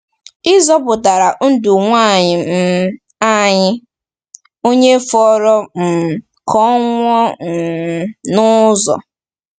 Ị zọpụtara ndụ nwaanyị um anyị, onye fọrọ um ka ọ nwụọ um n’ụzọ.”